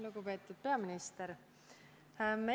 Lugupeetud peaminister!